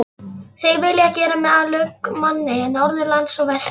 Þeir vilja gera mig að lögmanni norðanlands og vestan.